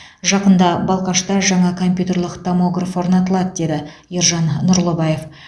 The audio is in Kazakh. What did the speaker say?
жақында балқашта жаңа компьютерлік томограф орнатылады деді ержан нұрлыбаев